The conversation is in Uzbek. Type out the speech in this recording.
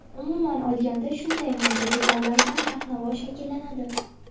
Umuman olganda, shunday mayda detallardan narx-navo shakllanadi.